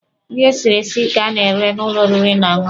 Nri esiri esi ka a na-ere n'ụlọ oriri na ọṅụṅụ.